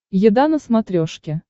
еда на смотрешке